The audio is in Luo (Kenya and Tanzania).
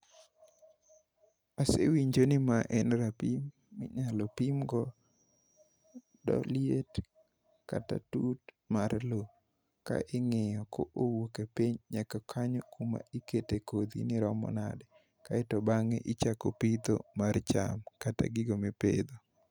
Asewinjo ni ma en rapim minyalo pimgo liet kata tut mar lo ka ing'iyo ko owuok e piny nyaka kanyo kuma ikete kodhi ni romo nade kaeto bang'e ichako pitho mar cham kata gigo mipidho.